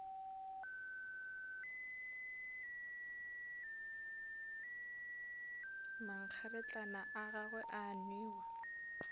mankgeretlana a gagwe a newa